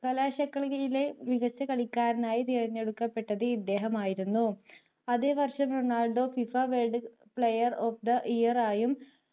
കലാശക്കളിയിലെ മികച്ച കളിക്കാരനായി തിരഞ്ഞെടുക്കപ്പെട്ടത് ഇദ്ദേഹമായിരുന്നു അതേവർഷം Ronaldo FIFA world player of the year ആയും